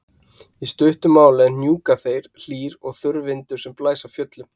í stuttu máli er hnjúkaþeyr hlýr og þurr vindur sem blæs af fjöllum